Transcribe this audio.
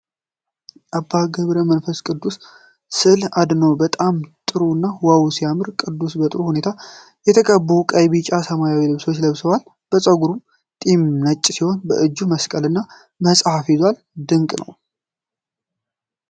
የአባ ገብረ መንፈስ ቅዱስ ሰል አድኖ እጅግ በጣም ጥሩ እና ዋው ሲያምር! ቅዱሱ በጥሩ ሁኔታ በተቀቡ በቀይ፣ ቢጫና ሰማያዊ ልብሶች ተመስሏል። ጸጉሩና ጢሙ ነጭ ሲሆን በእጁ መስቀልና መጽሐፍ ይዟል። ድንቅ ነው!